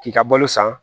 K'i ka balo san